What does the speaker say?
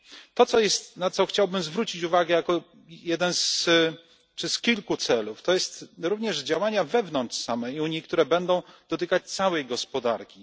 To, na co chciałbym zwrócić uwagę jako jeden z kilku celów, to są również działania wewnątrz samej Unii, które będą dotykać całej gospodarki.